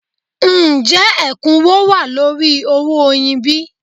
Ǹjẹ́ ẹ̀kúnwó wà lórí owó oyin bí?